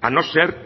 a no ser